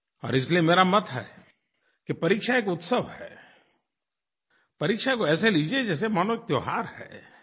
और इसलिये मेरा मत है कि परीक्षा एक उत्सव है परीक्षा को ऐसे लीजिए जैसे मानो त्योहार है